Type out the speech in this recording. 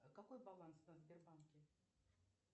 какой баланс на сбербанке